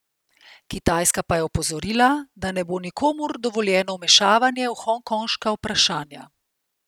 Kitajska pa je opozorila, da ne bo nikomur dovoljeno vmešavanje v hongkonška vprašanja.